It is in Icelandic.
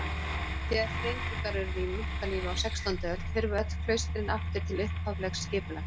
Þegar þrengingar urðu í munklífi á sextándu öld hurfu öll klaustrin aftur til upphaflegs skipulags.